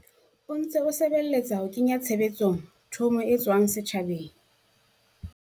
o ntse o sebeletsa ho kenya tshebetsong thomo e tswang setjhabeng.